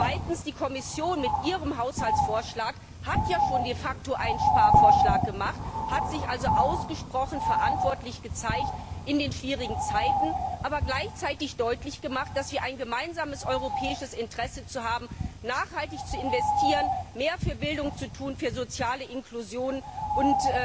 Zweitens Die Kommission hat mit ihrem Haushaltsvorschlag de facto ja schon einen Sparvorschlag gemacht, hat sich also ausgesprochen verantwortlich gezeigt in den schwierigen Zeiten, aber gleichzeitig deutlich gemacht, dass wir ein gemeinsames europäisches Interesse haben, nachhaltig zu investieren, mehr für Bildung zu tun, für soziale Inklusion und